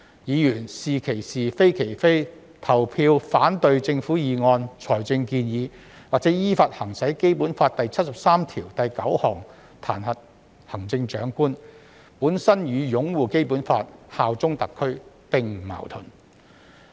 議員是其是、非其非，投票反對政府議案、財政建議，或依法行使《基本法》第七十三條第九項彈劾行政長官，與擁護《基本法》、效忠特區並不矛盾。